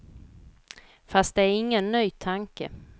Fast det är ingen ny tanke.